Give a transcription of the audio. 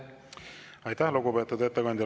Aitäh, lugupeetud ettekandja!